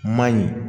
Man ɲi